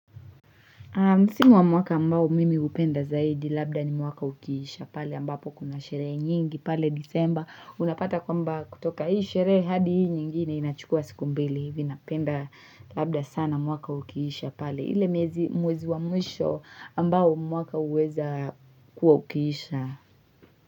Msimu wa mwaka ambao mimi hupenda zaidi labda ni mwaka ukiisha pale ambapo kuna sherehe nyingi pale disemba. Unapata kwamba kutoka hii sherehe hadi hii nyingine inachukua siku mbili hivi napenda labda sana mwaka ukiisha pale ile mwezi wa mwisho ambao mwaka huweza kuwa ukiisha.